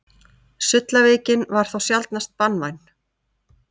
Sullaveikin var þó sjaldnast banvæn.